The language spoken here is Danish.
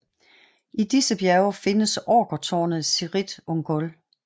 I disse bjerge findes orkertårnet Cirith Ungol